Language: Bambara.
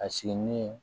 A sigi ni